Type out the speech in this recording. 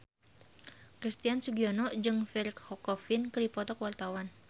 Christian Sugiono jeung Pierre Coffin keur dipoto ku wartawan